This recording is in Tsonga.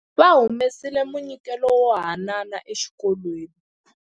Va humesile munyikelo wo haanana exikolweni.